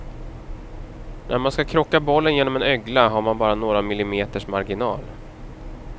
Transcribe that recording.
När man ska krocka bollen genom en ögla har man bara några milimeters marginal.